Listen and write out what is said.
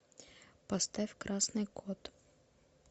поставь красный кот